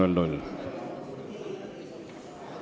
Istungi lõpp kell 10.56.